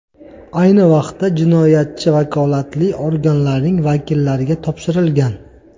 Ayni vaqtda jinoyatchi vakolatli organlarning vakillariga topshirilgan.